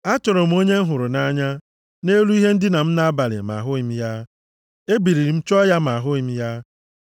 Achọrọ m onye m hụrụ nʼanya nʼelu ihe ndina m nʼabalị, ma ahụghị m ya. Ebiliri m chọọ ya ma ahụghị m ya.